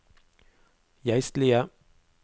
geistlige